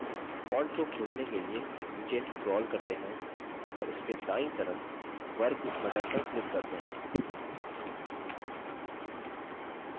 font को खोजने के लिए नीचे scroll करते हैं और उसके दायीं तरफ वर्ग square button पर click करते हैं